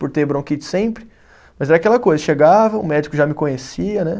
Por ter bronquite sempre, mas era aquela coisa, chegava, o médico já me conhecia, né?